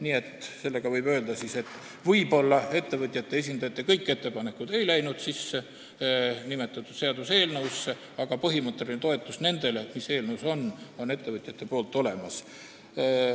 Nii et võib öelda, et võib-olla ettevõtjate esindajate kõik ettepanekud ei läinud nimetatud seaduseelnõusse sisse, aga ettevõtjate põhimõtteline toetus nendele, mis eelnõus on, on olemas.